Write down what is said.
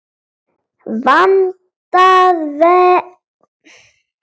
Vandað verði til verka.